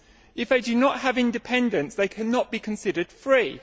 If they do not have independence, they cannot be considered free.